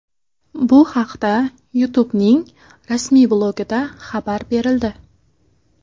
Bu haqda YouTube’ning rasmiy blogida xabar berildi .